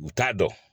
U t'a dɔn